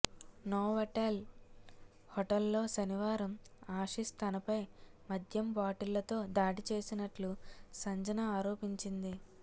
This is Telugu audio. నోవాటెల్ హోటల్లో శనివారం ఆశిష్ తనపై మద్యం బాటిళ్లతో దాడి చేసినట్లు సంజన ఆరోపించింది